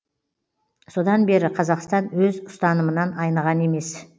содан бері қазақстан өз ұстанымынан айныған емес